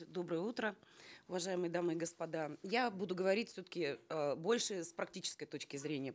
доброе утро уважаемые дамы и господа я буду говорить все таки э больше с практической точки зрения